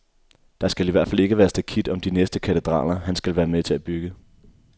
Der skal i hvert fald ikke være stakit om de næste katedraler, han skal være med til at bygge.